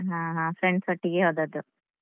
ಹ ಹ. friends ಒಟ್ಟಿಗೆ ಹೋದದ್ದು.